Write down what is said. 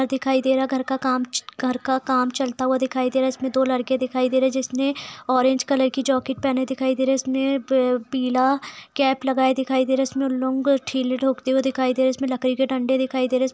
घर दिखाई दे रहा है | घर का काम च घर का काम चलता हुआ दिखाई दे रहा है | इसमे दो लड़के दिखाई दे रहे हैं जिसने ऑरेंज कलर की जैकिट पहने दिखाई दे रहा है | इसने पीला कैप लगाए दिखाई दे रहा है | इसमे दिखाई दे रहे हैं | इसमे लकड़ी के डंडे दिखाई दे रहे हैं ।